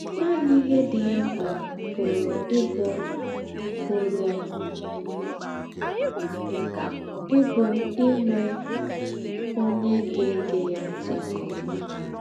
Nànì íhe dì ya m̀kpà pùrù íbù pùrù íbù ínwè ónyè gá-ègè ya ńtì nke ómà.